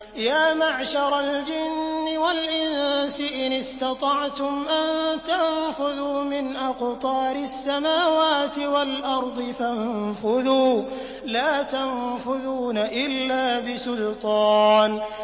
يَا مَعْشَرَ الْجِنِّ وَالْإِنسِ إِنِ اسْتَطَعْتُمْ أَن تَنفُذُوا مِنْ أَقْطَارِ السَّمَاوَاتِ وَالْأَرْضِ فَانفُذُوا ۚ لَا تَنفُذُونَ إِلَّا بِسُلْطَانٍ